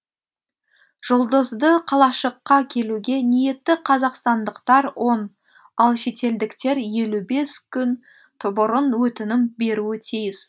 жұлдызды қалашыққа келуге ниетті қазақстандықтар он ал шетелдіктер елу бес күн бұрын өтінім беруі тиіс